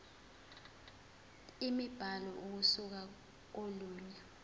imibhalo ukusuka kolunye